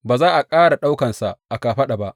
Ba za a riƙa ɗaukansa a kafaɗa ba.